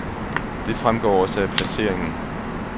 Det fremgår også af placeringen.